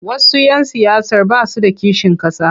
Wasu 'yan siyasar ba su da kishin ƙasa.